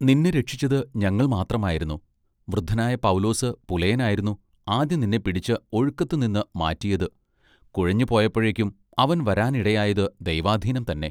നിന്നെ രക്ഷിച്ചത് ഞങ്ങൾ മാത്രമായിരുന്നു, വൃദ്ധനായ പൗലോസ് പുലയനായിരുന്നു ആദ്യം നിന്നെ പിടിച്ച് ഒഴുക്കത്തുനിന്ന് മാറ്റിയത് കുഴഞ്ഞുപൊയപ്പൊഴെക്കും അവൻ വരാനിടയായത് ദൈവാധീനം തന്നെ.